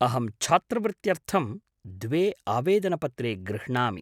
अहं छात्रवृत्त्यर्थं द्वे आवेदनपत्रे गृह्णामि।